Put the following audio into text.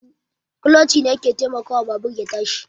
Kuloci ne ke taimakawa babur ya tashi